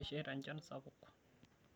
Kesheita enchan sapuk.